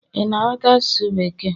ị na ghọta asụsụ bekee?